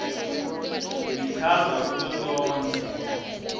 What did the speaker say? lichaza kuto tonkhe